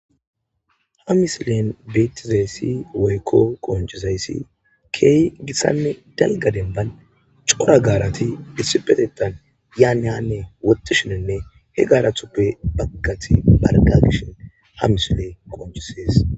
ha misilen beettizayssi woykko qoncizayssi keehi gitanne dalga denban cora gaarati dissipetettan yaanne hanne wottishinenne he gaarathuppe baggati barqa gishin ha misiley qoncisees